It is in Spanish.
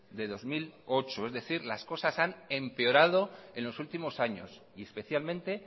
de bi mila zortzi es decir las cosas han empeorado en los últimos años y especialmente